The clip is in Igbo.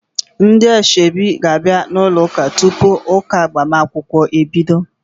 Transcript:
Ndị asoebi ga-abia n'ụlọ ụka tupu ụka agbamakwụkwọ ebido.